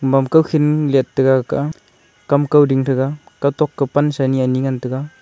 mam kawkhin liet taiga ka a kam kauding tega kawtok ke pansa ni ani ngan taiga.